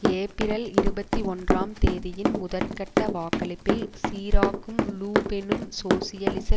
ஏப்பிரல் இருபத்தி ஒன்றாம் தேதியின் முதற்கட்ட வாக்களிப்பில் சிராக்கும் லு பெனும் சோசியலிச